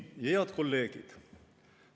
Head kolleegid!